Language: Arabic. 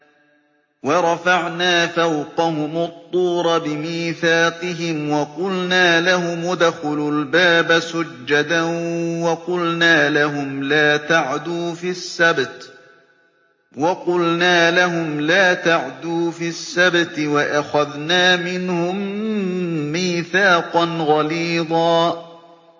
وَرَفَعْنَا فَوْقَهُمُ الطُّورَ بِمِيثَاقِهِمْ وَقُلْنَا لَهُمُ ادْخُلُوا الْبَابَ سُجَّدًا وَقُلْنَا لَهُمْ لَا تَعْدُوا فِي السَّبْتِ وَأَخَذْنَا مِنْهُم مِّيثَاقًا غَلِيظًا